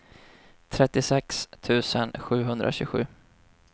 trettiosex tusen sjuhundratjugosju